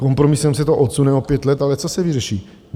Kompromisem se to odsune o pět let, ale co se vyřeší?